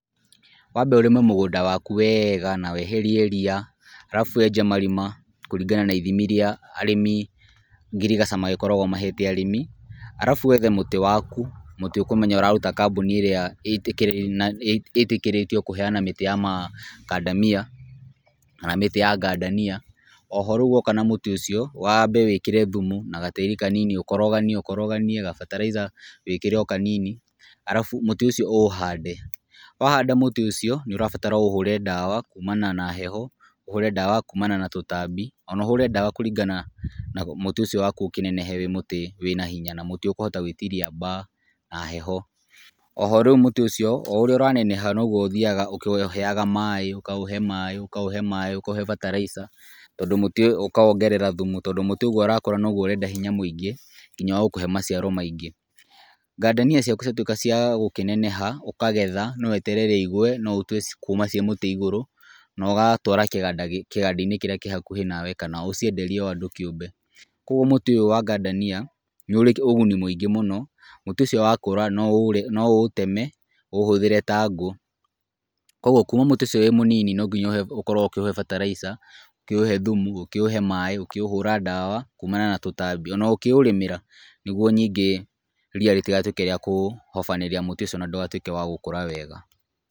Wambe ũrĩme mũgũnda waku wega na weherie ria alafu wenje marima kũringana na ithimi iria arĩmi ngirigaca magĩkoragwo mahete arĩmi alafu wethe mũtĩ waku, mũtĩ ũkũmenya ũraruta kambuni ĩrĩa ĩtĩkĩrĩtio kũheana mĩtĩ ya macandamia kana mĩtĩ ya gandania. Oho rĩu woka na mũtĩ ũcio wambe wĩkĩre thumu na gatĩri kanini ũkoroganie, gabataraitha wĩkĩre o kanini alafu mũtĩ ũcio ũũhande. Wahanda mũtĩ ũcio, nũ ũrabatara ũũhũre ndawa kuumana na heho, ũhũre ndawa kuumana na tũtambi, ona ũhũre ndawa kũringana na mũtĩ ũcio waku ũkĩnenehe wĩ mũtĩ wĩ na hinya na mũtĩ ũkũhota gũĩtiria baa, na heho. Oho rĩu mũtĩ ũcio, o ũrĩa ũraneneha no guo ũthiaga ũkĩũheaga maaĩ, ũkaũhe maaĩ, ũkaũhe bataraitha, ukawongerera thumu, tondũ mũtĩ ũguo ũrakũra no guo ũrenda hinya mwingĩ, nginya ũgakũhe maciaro maingĩ. Gandania ciaku ciatuĩka cia gũkĩneneha ũkagetha, no weterere igwe, no ũtue kuuma ciĩ mũtĩ igũrũ naũgatwara kĩganda-inĩ kĩrĩa kĩ hakuhĩ na we kana ũcienderie o andũ kĩũmbe, Kũguo mũtĩ ũyũ wa gandania nĩ ũrĩ ũguni mwingĩ mũno, mũtĩ ũcio wakũra no ũũteme, ũũhũthĩre ta ngũ. Kũguo kuma mũtĩ ucio wĩ mũnini no nginya ũkorwo ũkĩũhe bataraitha, ũkĩũhe thumu, ũkĩũhe maaĩ, ũkĩũhũra ndawa kuumana na tũtambi, ona ũkĩũrĩmĩra nĩ guo ningĩ ria rĩtigatuĩke rĩa kũhobanĩria mũtĩ ũcio na ndũgatuĩke wa gũkũra wega.